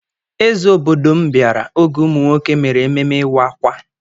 Eze obodo m bịara oge ụmụ nwoke mere ememme ịwa ákwà.